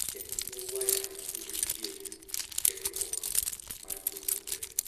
En ye waya matudo tieko tiegruok mar japuonjre,